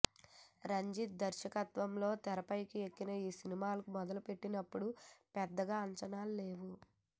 రంజిత్ దర్శకత్వంలో తెరకెక్కిన ఈ సినిమా మొదలుపెట్టినప్పుడు పెద్దగా అంచనాల్లేవు